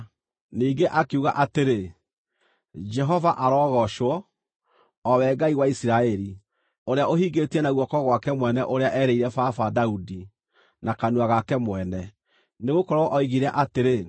Ningĩ akiuga atĩrĩ: “Jehova arogoocwo, o we Ngai wa Isiraeli, ũrĩa ũhingĩtie na guoko gwake mwene ũrĩa eerĩire baba, Daudi, na kanua gake mwene. Nĩgũkorwo oigire atĩrĩ,